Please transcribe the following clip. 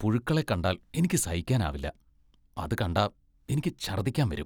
പുഴുക്കളെ കണ്ടാൽ എനിക്ക് സഹിക്കാനാവില്ല, അത് കണ്ടാ എനിക്ക് ഛർദ്ദിക്കാൻ വരും.